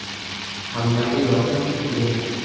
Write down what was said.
Hammaga yoqish qiyin.